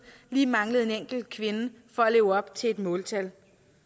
lige manglede en enkelt kvinde for at leve op til et måltal